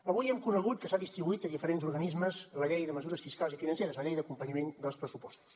avui hem conegut que s’ha distribuït a diferents organismes la llei de mesures fiscals i financeres la llei d’acompanyament dels pressupostos